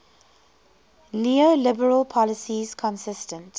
neoliberal policies consistent